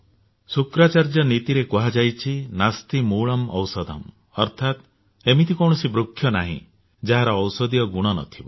ଶୁକ୍ରାଚାର୍ଯ୍ୟ ନୀତିରେ କୁହାଯାଇଛି ନାସ୍ତି ମୂଳଂ ଔଷଧମ୍ ଅର୍ଥାତ୍ ଏମିତି କୌଣସି ବୃକ୍ଷ ନାହିଁ ଯାହାର ଔଷଧିୟ ଗୁଣ ନଥିବ